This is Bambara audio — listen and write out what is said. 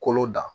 Kolo da